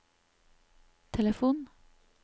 telefon